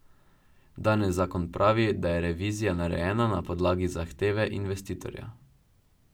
Danes zakon pravi, da je revizija narejena na podlagi zahteve investitorja.